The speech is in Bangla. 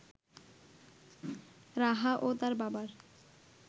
রাহা ও তার বাবার